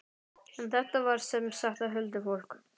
En þetta var sem sagt huldufólk.